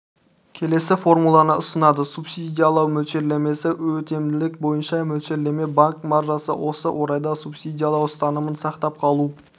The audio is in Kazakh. келесі формуланы ұсынады субсидиялау мөлшерлемесі өтімділік бойынша мөлшерлеме банк маржасы осы орайда субсидиялау ұстанымын сақтап қалу